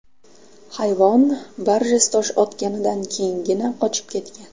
Hayvon Barjess tosh otganidan keyingina qochib ketgan.